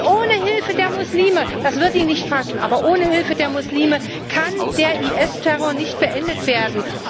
Ohne Hilfe der Muslime das wird Ihnen nicht passen ohne Hilfe der Muslime kann der IS Terror nicht beendet werden.